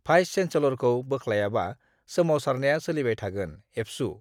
vice चेन्सेलरखौ बोख्लायाबा सोमावसारनाया सोलिबाय थागोन: एबसु